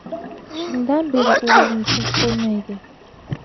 Shundan beri o‘g‘limni tinch qo‘ymaydi.